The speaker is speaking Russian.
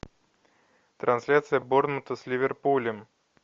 трансляция борнмута с ливерпулем